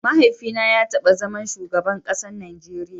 Mahaifi na ya taba zaman shugaban kasan Najeria.